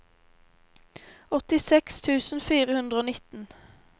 åttiseks tusen fire hundre og nitten